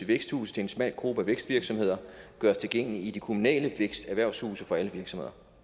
væksthuse til en smal gruppe af vækstvirksomheder gøres tilgængelige i de kommunale vækst og erhvervshuse for alle virksomheder